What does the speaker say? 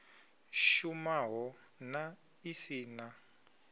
shumaho na i si na